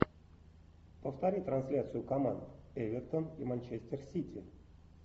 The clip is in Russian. повтори трансляцию команд эвертон и манчестер сити